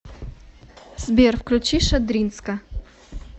сбер включи шадринска